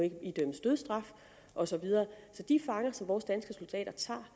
idømmes dødsstraf og så videre så de fanger som vores danske soldater